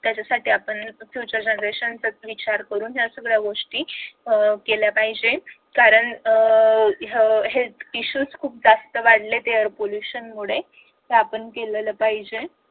त्याच्यासाठीच आपण future generation चा विचार करून ह्या सगळ्या गोष्टी केल्या पाहिजेत कारण हे issues खूप जास्त वाढलेत air pollution मुळे ते आपण केलेलं पाहिजे